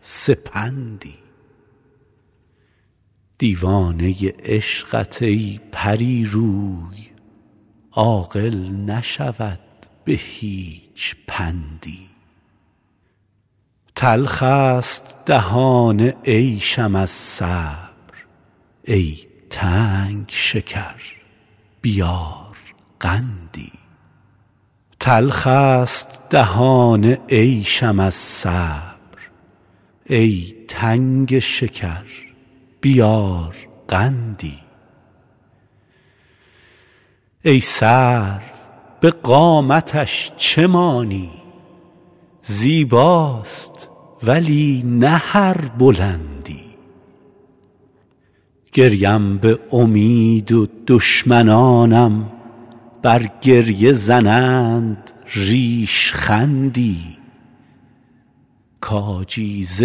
سپندی دیوانه عشقت ای پری روی عاقل نشود به هیچ پندی تلخ ست دهان عیشم از صبر ای تنگ شکر بیار قندی ای سرو به قامتش چه مانی زیباست ولی نه هر بلندی گریم به امید و دشمنانم بر گریه زنند ریشخندی کاجی ز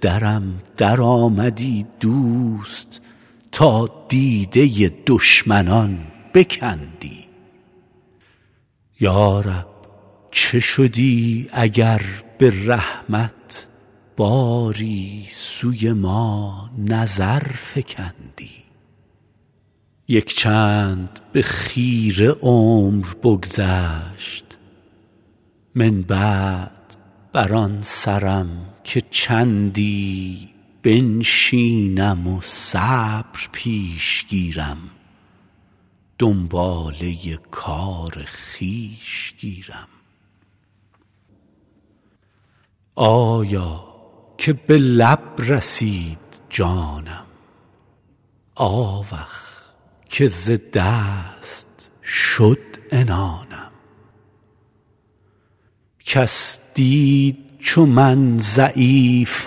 درم درآمدی دوست تا دیده دشمنان بکندی یا رب چه شدی اگر به رحمت باری سوی ما نظر فکندی یک چند به خیره عمر بگذشت من بعد بر آن سرم که چندی بنشینم و صبر پیش گیرم دنباله کار خویش گیرم آیا که به لب رسید جانم آوخ که ز دست شد عنانم کس دید چو من ضعیف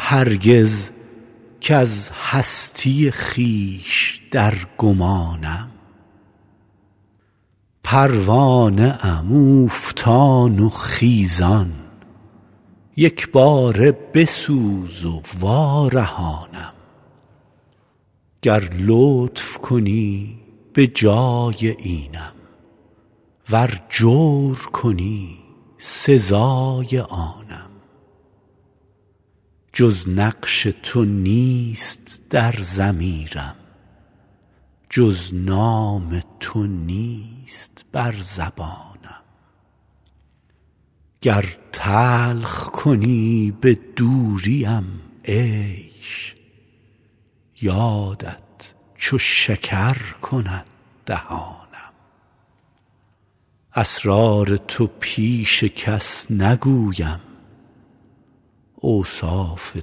هرگز کز هستی خویش در گمانم پروانه ام اوفتان و خیزان یک باره بسوز و وارهانم گر لطف کنی به جای اینم ور جور کنی سزای آنم جز نقش تو نیست در ضمیرم جز نام تو نیست بر زبانم گر تلخ کنی به دوریم عیش یادت چو شکر کند دهانم اسرار تو پیش کس نگویم اوصاف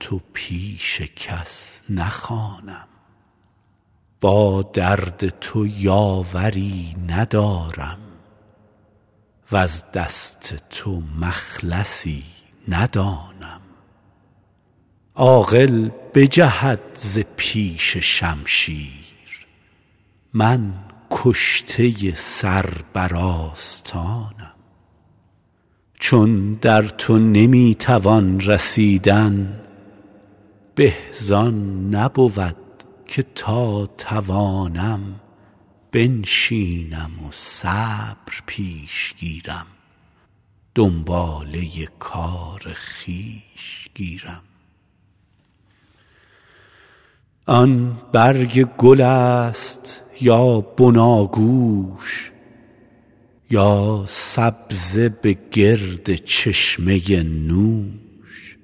تو پیش کس نخوانم با درد تو یاوری ندارم وز دست تو مخلصی ندانم عاقل بجهد ز پیش شمشیر من کشته سر بر آستانم چون در تو نمی توان رسیدن به زآن نبود که تا توانم بنشینم و صبر پیش گیرم دنباله کار خویش گیرم آن برگ گل ست یا بناگوش یا سبزه به گرد چشمه نوش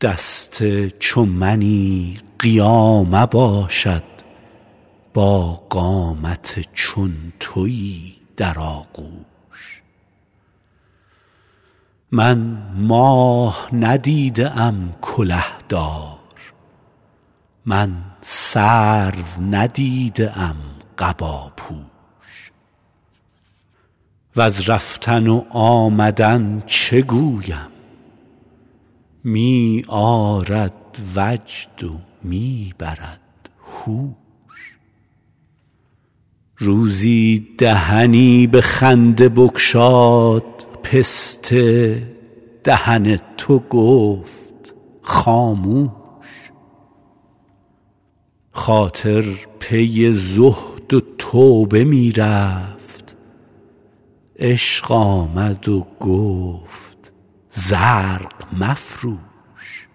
دست چو منی قیامه باشد با قامت چون تویی در آغوش من ماه ندیده ام کله دار من سرو ندیده ام قباپوش وز رفتن و آمدن چه گویم می آرد وجد و می برد هوش روزی دهنی به خنده بگشاد پسته دهن تو گفت خاموش خاطر پی زهد و توبه می رفت عشق آمد و گفت زرق مفروش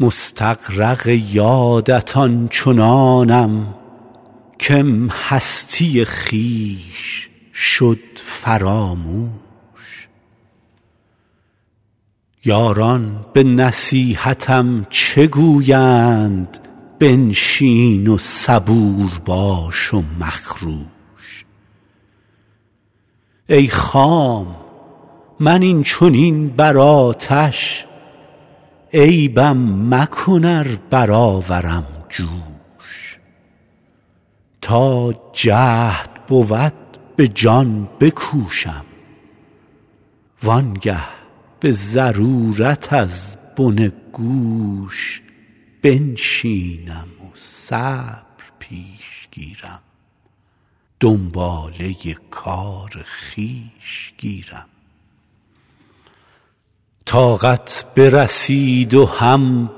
مستغرق یادت آن چنانم کم هستی خویش شد فراموش یاران به نصیحتم چه گویند بنشین و صبور باش و مخروش ای خام من این چنین بر آتش عیبم مکن ار برآورم جوش تا جهد بود به جان بکوشم وآن گه به ضرورت از بن گوش بنشینم و صبر پیش گیرم دنباله کار خویش گیرم طاقت برسید و هم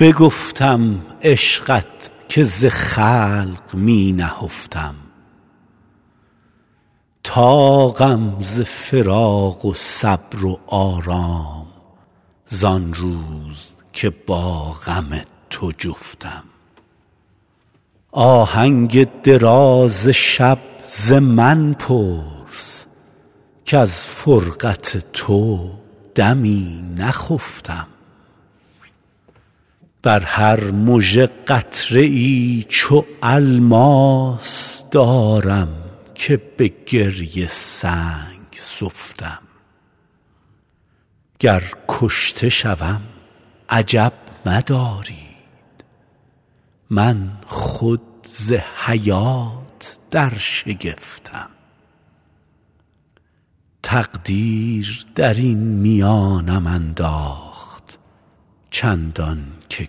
بگفتم عشقت که ز خلق می نهفتم طاقم ز فراق و صبر و آرام زآن روز که با غم تو جفتم آهنگ دراز شب ز من پرس کز فرقت تو دمی نخفتم بر هر مژه قطره ای چو الماس دارم که به گریه سنگ سفتم گر کشته شوم عجب مدارید من خود ز حیات در شگفتم تقدیر درین میانم انداخت چندان که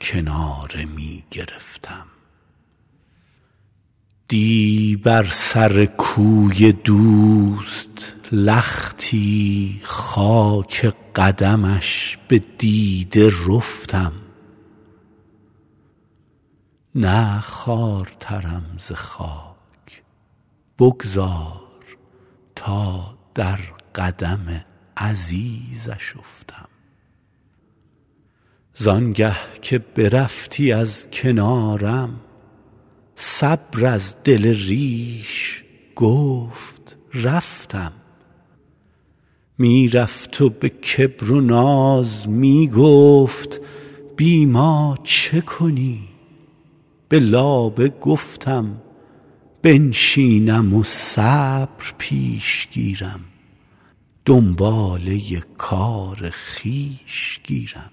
کناره می گرفتم دی بر سر کوی دوست لختی خاک قدمش به دیده رفتم نه خوارترم ز خاک بگذار تا در قدم عزیزش افتم زآن گه که برفتی از کنارم صبر از دل ریش گفت رفتم می رفت و به کبر و ناز می گفت بی ما چه کنی به لابه گفتم بنشینم و صبر پیش گیرم دنباله کار خویش گیرم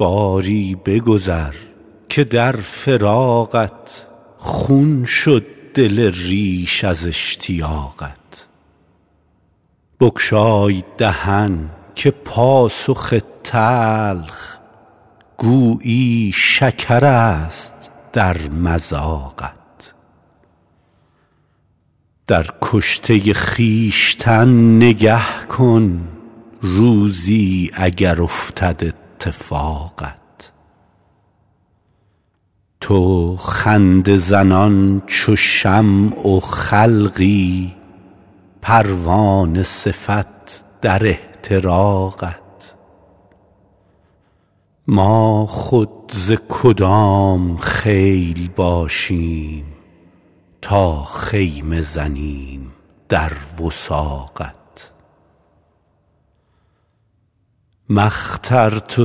باری بگذر که در فراقت خون شد دل ریش از اشتیاقت بگشای دهن که پاسخ تلخ گویی شکرست در مذاقت در کشته خویشتن نگه کن روزی اگر افتد اتفاقت تو خنده زنان چو شمع و خلقی پروانه صفت در احتراقت ما خود ز کدام خیل باشیم تا خیمه زنیم در وثاقت ما اخترت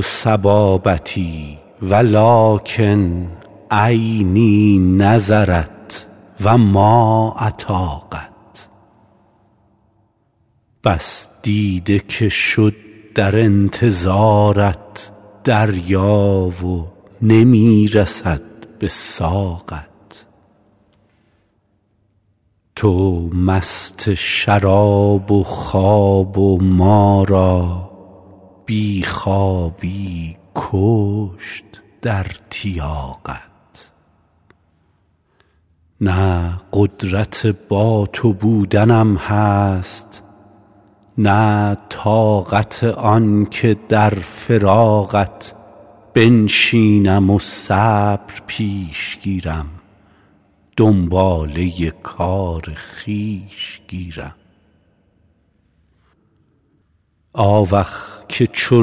صبابتی ولکن عینی نظرت و ما اطاقت بس دیده که شد در انتظارت دریا و نمی رسد به ساقت تو مست شراب و خواب و ما را بی خوابی بکشت در تیاقت نه قدرت با تو بودنم هست نه طاقت آن که در فراقت بنشینم و صبر پیش گیرم دنباله کار خویش گیرم آوخ که چو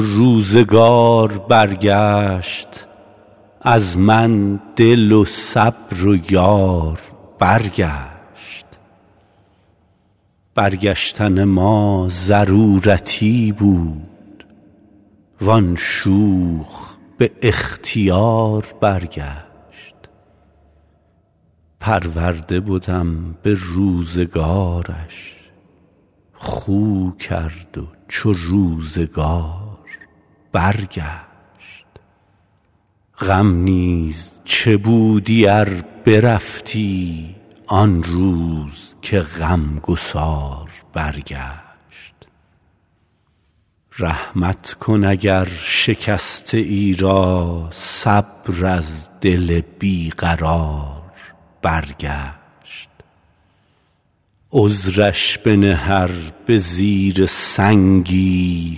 روزگار برگشت از من دل و صبر و یار برگشت برگشتن ما ضرورتی بود وآن شوخ به اختیار برگشت پرورده بدم به روزگارش خو کرد و چو روزگار برگشت غم نیز چه بودی ار برفتی آن روز که غم گسار برگشت رحمت کن اگر شکسته ای را صبر از دل بی قرار برگشت عذرش بنه ار به زیر سنگی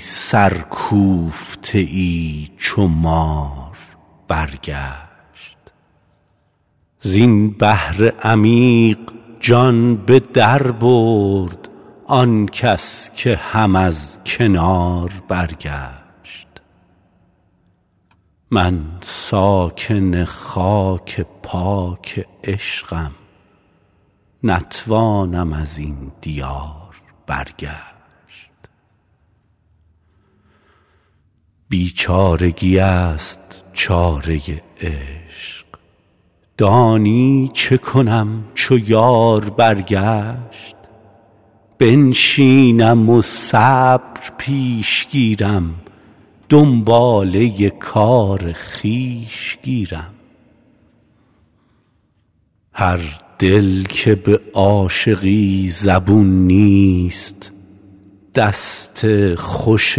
سرکوفته ای چو مار برگشت زین بحر عمیق جان به در برد آن کس که هم از کنار برگشت من ساکن خاک پاک عشقم نتوانم ازین دیار برگشت بیچارگی ست چاره عشق دانی چه کنم چو یار برگشت بنشینم و صبر پیش گیرم دنباله کار خویش گیرم هر دل که به عاشقی زبون نیست دست خوش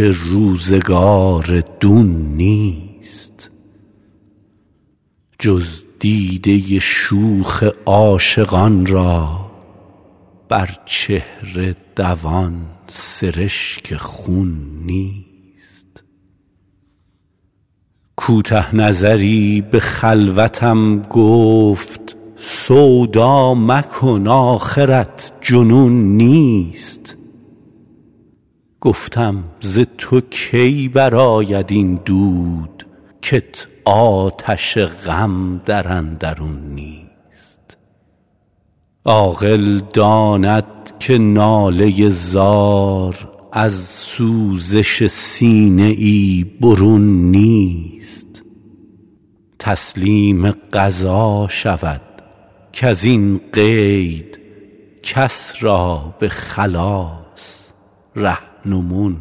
روزگار دون نیست جز دیده شوخ عاشقان را بر چهره دوان سرشک خون نیست کوته نظری به خلوتم گفت سودا مکن آخرت جنون نیست گفتم ز تو کی برآید این دود کت آتش غم در اندرون نیست عاقل داند که ناله زار از سوزش سینه ای برون نیست تسلیم قضا شود کزین قید کس را به خلاص رهنمون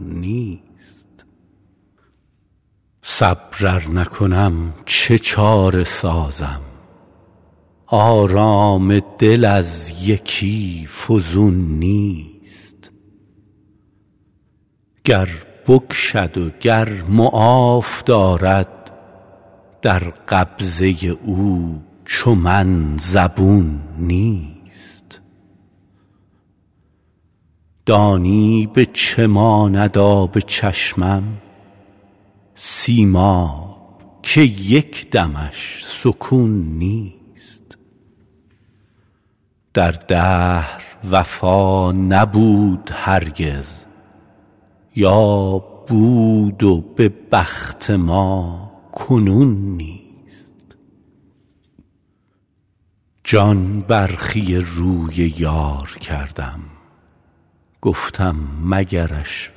نیست صبر ار نکنم چه چاره سازم آرام دل از یکی فزون نیست گر بکشد و گر معاف دارد در قبضه او چو من زبون نیست دانی به چه ماند آب چشمم سیماب که یک دمش سکون نیست در دهر وفا نبود هرگز یا بود و به بخت ما کنون نیست جان برخی روی یار کردم گفتم مگرش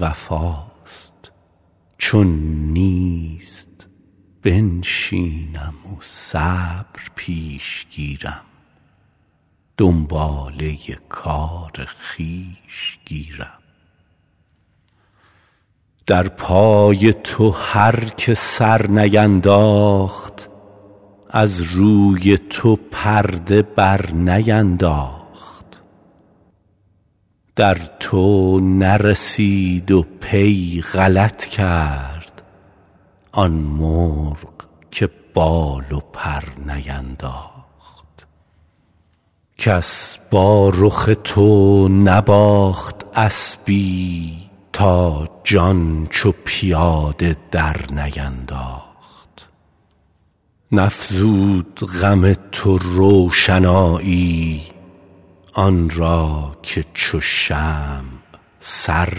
وفاست چون نیست بنشینم و صبر پیش گیرم دنباله کار خویش گیرم در پای تو هر که سر نینداخت از روی تو پرده بر نینداخت در تو نرسید و پی غلط کرد آن مرغ که بال و پر نینداخت کس با رخ تو نباخت اسبی تا جان چو پیاده در نینداخت نفزود غم تو روشنایی آن را که چو شمع سر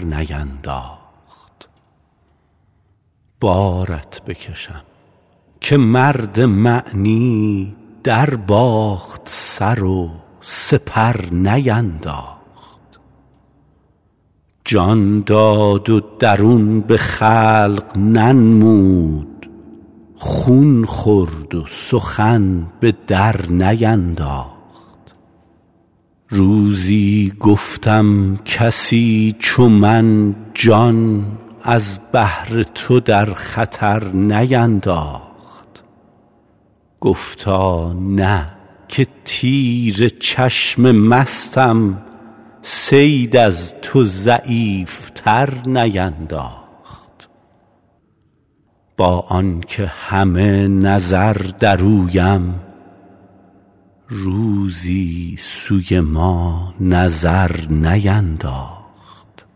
نینداخت بارت بکشم که مرد معنی در باخت سر و سپر نینداخت جان داد و درون به خلق ننمود خون خورد و سخن به در نینداخت روزی گفتم کسی چو من جان از بهر تو در خطر نینداخت گفتا نه که تیر چشم مستم صید از تو ضعیف تر نینداخت با آن که همه نظر در اویم روزی سوی ما نظر نینداخت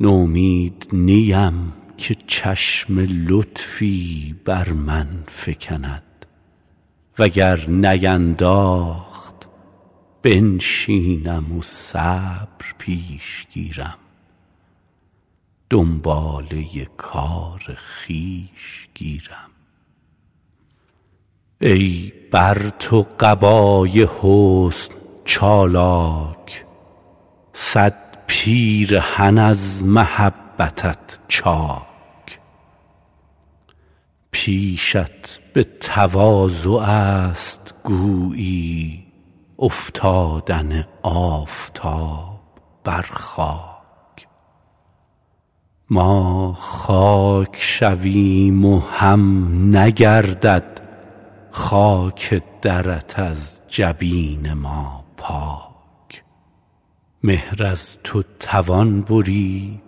نومید نیم که چشم لطفی بر من فکند وگر نینداخت بنشینم و صبر پیش گیرم دنباله کار خویش گیرم ای بر تو قبای حسن چالاک صد پیرهن از محبتت چاک پیشت به تواضع ست گویی افتادن آفتاب بر خاک ما خاک شویم و هم نگردد خاک درت از جبین ما پاک مهر از تو توان برید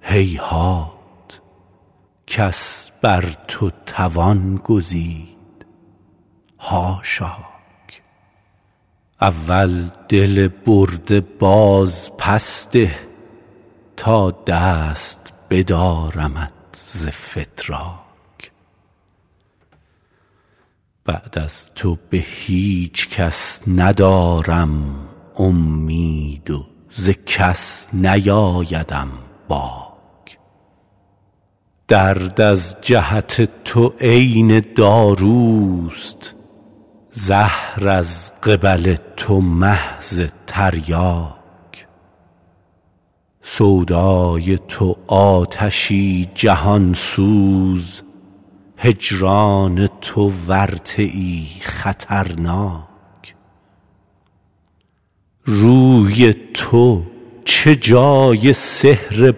هیهات کس بر تو توان گزید حاشاک اول دل برده باز پس ده تا دست بدارمت ز فتراک بعد از تو به هیچ کس ندارم امید و ز کس نیآیدم باک درد از جهت تو عین داروست زهر از قبل تو محض تریاک سودای تو آتشی جهان سوز هجران تو ورطه ای خطرناک روی تو چه جای سحر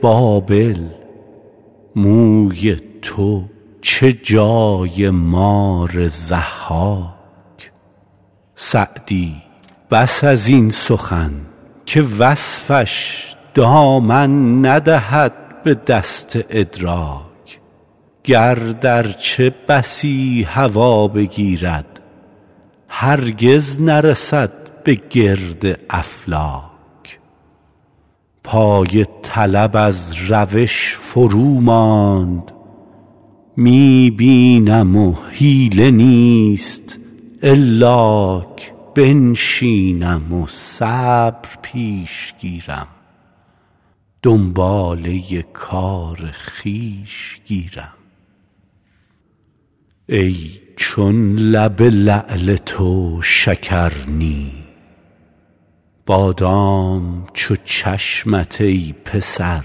بابل موی تو چه جای مار ضحاک سعدی بس ازین سخن که وصفش دامن ندهد به دست ادراک گرد ارچه بسی هوا بگیرد هرگز نرسد به گرد افلاک پای طلب از روش فرو ماند می بینم و حیله نیست الاک بنشینم و صبر پیش گیرم دنباله کار خویش گیرم ای چون لب لعل تو شکر نی بادام چو چشمت ای پسر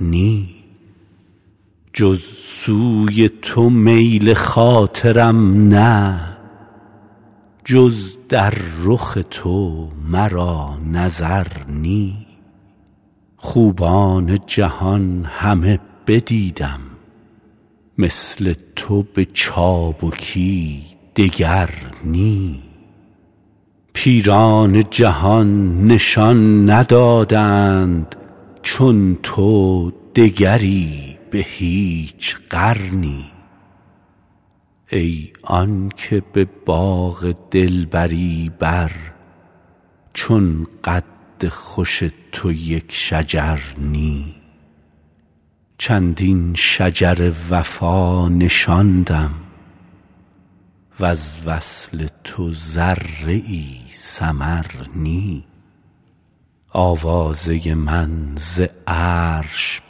نی جز سوی تو میل خاطرم نه جز در رخ تو مرا نظر نی خوبان جهان همه بدیدم مثل تو به چابکی دگر نی پیران جهان نشان ندادند چون تو دگری به هیچ قرنی ای آن که به باغ دلبری بر چون قد خوش تو یک شجر نی چندین شجر وفا نشاندم وز وصل تو ذره ای ثمر نی آوازه من ز عرش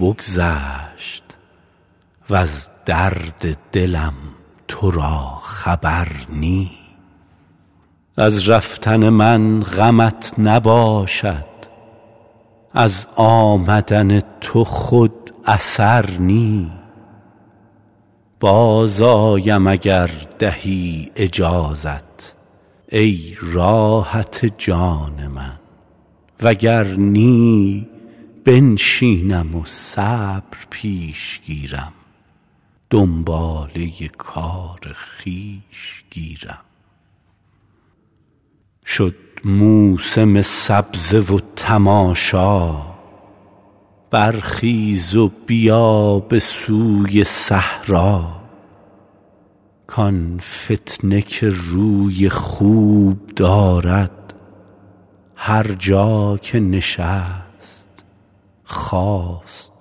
بگذشت وز درد دلم تو را خبر نی از رفتن من غمت نباشد از آمدن تو خود اثر نی باز آیم اگر دهی اجازت ای راحت جان من وگر نی بنشینم و صبر پیش گیرم دنباله کار خویش گیرم شد موسم سبزه و تماشا برخیز و بیا به سوی صحرا کآن فتنه که روی خوب دارد هر جا که نشست خاست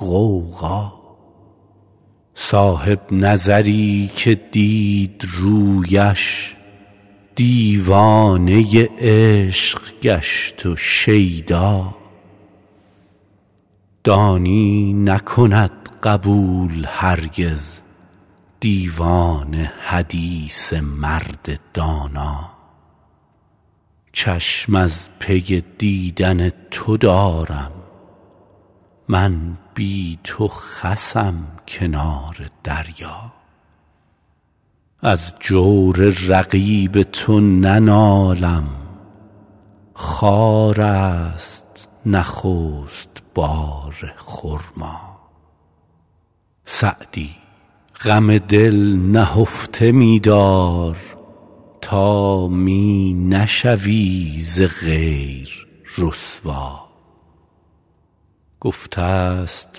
غوغا صاحب نظری که دید رویش دیوانه عشق گشت و شیدا دانی نکند قبول هرگز دیوانه حدیث مرد دانا چشم از پی دیدن تو دارم من بی تو خسم کنار دریا از جور رقیب تو ننالم خارست نخست بار خرما سعدی غم دل نهفته می دار تا می نشوی ز غیر رسوا گفته ست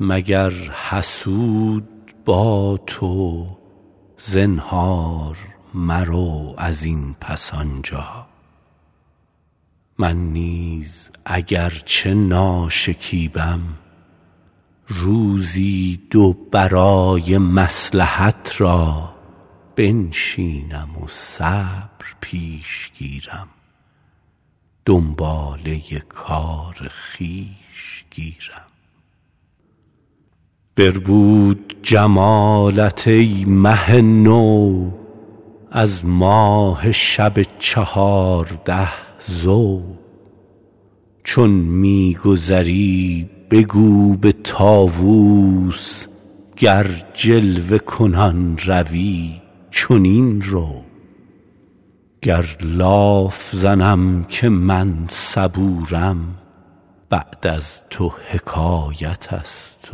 مگر حسود با تو زنهار مرو ازین پس آنجا من نیز اگر چه ناشکیبم روزی دو برای مصلحت را بنشینم و صبر پیش گیرم دنباله کار خویش گیرم بربود جمالت ای مه نو از ماه شب چهارده ضو چون می گذری بگو به طاوس گر جلوه کنان روی چنین رو گر لاف زنم که من صبورم بعد از تو حکایت ست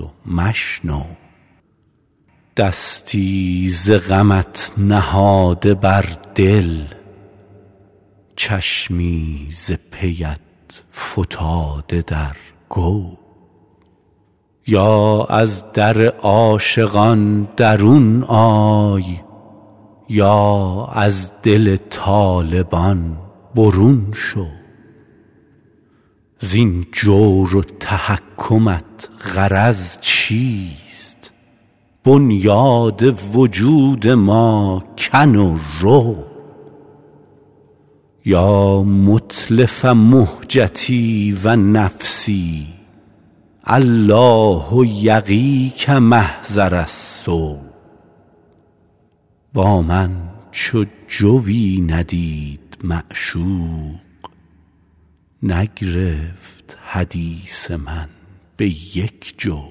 و مشنو دستی ز غمت نهاده بر دل چشمی ز پیت فتاده در گو یا از در عاشقان درون آی یا از دل طالبان برون شو زین جور و تحکمت غرض چیست بنیاد وجود ما کن و رو یا متلف مهجتی و نفسی الله یقیک محضر السو با من چو جویی ندید معشوق نگرفت حدیث من به یک جو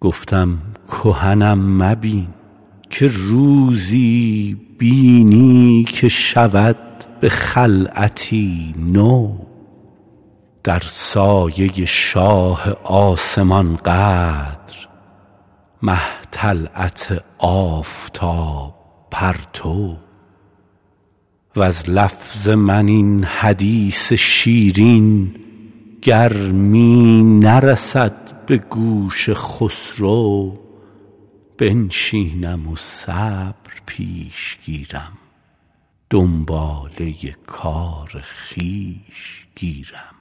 گفتم کهنم مبین که روزی بینی که شود به خلعتی نو در سایه شاه آسمان قدر مه طلعت آفتاب پرتو وز لفظ من این حدیث شیرین گر می نرسد به گوش خسرو بنشینم و صبر پیش گیرم دنباله کار خویش گیرم